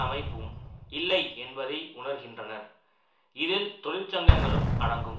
அமைப்பும் இல்லை என்பதை உணர்கின்றனர் இதில் தொழிற்சங்கங்களும் அடங்கும்